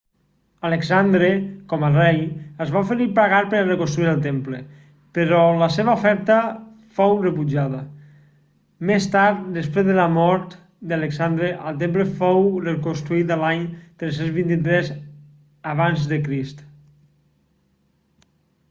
alexandre com a rei es va oferir pagar per a reconstruir el temple però la seva oferta fou rebutjada més tard després de la mort d'alexandre el temple fou reconstruït l'any 323 ac